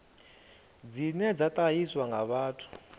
dzine dza ṱahiswa nga vhathu